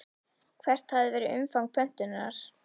Hvert hafi verið umfang pöntunar?